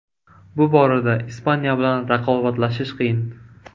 Bu borada Ispaniya bilan raqobatlashish qiyin.